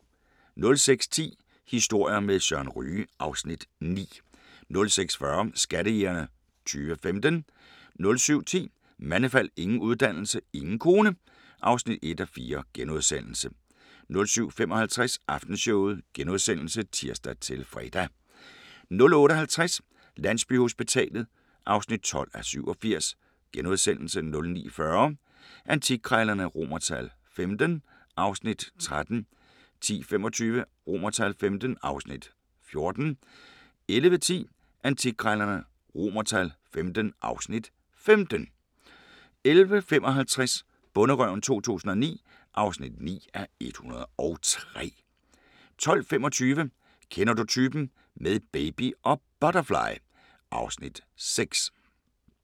06:10: Historier med Søren Ryge (Afs. 9) 06:40: Skattejægerne 2015 07:10: Mandefald – ingen uddannelse, ingen kone (1:4)* 07:55: Aftenshowet *(tir-fre) 08:50: Landsbyhospitalet (12:87)* 09:40: Antikkrejlerne XV (Afs. 13) 10:25: Antikkrejlerne XV (Afs. 14) 11:10: Antikkrejlerne XV (Afs. 15) 11:55: Bonderøven 2009 (9:103) 12:25: Kender du typen? - med baby og butterfly (Afs. 6)